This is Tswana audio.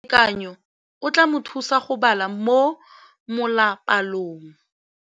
Mosimane a re molatekanyô o tla mo thusa go bala mo molapalong.